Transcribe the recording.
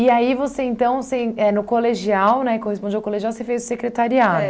aí você então, você é no colegial, né, corresponde ao colegial, você fez o secretariado? É